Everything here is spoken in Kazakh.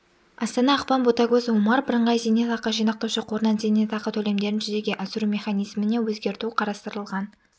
астана ақпан ботагөз омар бірыңғай зейнетақы жинақтаушы қорынан зейнетақы төлемдерін жүзеге асыру механизміне өзгерту қарастырылған